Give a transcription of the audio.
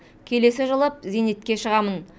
келесі жылы зейнетке шығамын